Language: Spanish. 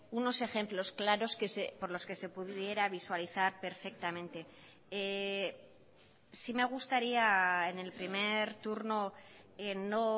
unos ejemplos claros por los que se pudiera visualizar perfectamente sí me gustaría en el primer turno no